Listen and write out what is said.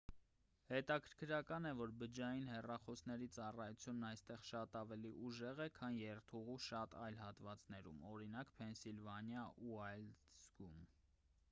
հետաքրքրական է որ բջջային հեռախոսների ծառայությունն այստեղ շատ ավելի ուժեղ է քան երթուղու շատ այլ հատվածներում օրինակ ՝ փենսիլվանիա ուայլդզում: